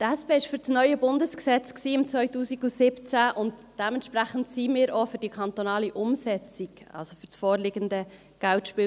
Die SP war 2017 für das neue Bundesgesetz über Geldspiele (Geldspielgesetz, BGS), und dementsprechend sind wir auch für die kantonale Umsetzung, also für das vorliegende KGSG.